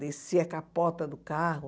Descia a capota do carro.